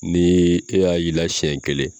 Ni e y'a y'ila sɛn kelen